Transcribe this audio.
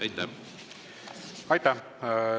Aitäh!